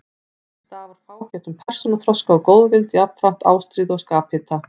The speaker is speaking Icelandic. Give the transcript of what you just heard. Af því stafar fágætum persónuþroska og góðvild, jafnframt ástríðu og skaphita.